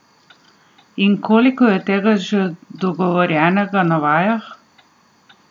In koliko je tega že dogovorjenega na vajah?